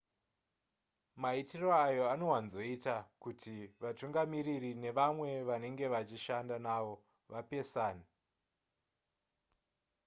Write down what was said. maitiro aya anowanzoita kuti vatungamiriri nevamwe vavanenge vachishanda navo vapesane